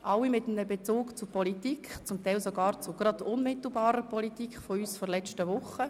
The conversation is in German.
Alle hatten einen Bezug zur Politik und zum Teil sogar zu unmittelbarer Politik der letzten Woche.